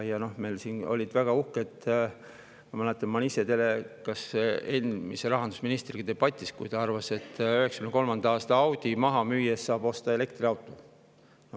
Ma mäletan, et ma olin endise rahandusministriga teledebatis, kui ta arvas, et 1993. aasta Audi maha müües saab osta elektriauto.